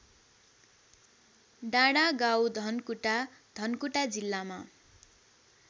डाँडागाउँधनकुटा धनकुटा जिल्लामा